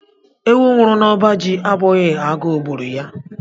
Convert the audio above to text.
Ewu nwuru n'oba jì abụghị agu gburu ya.